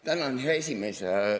Tänan, hea esimees!